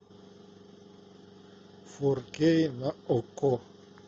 фор кей на окко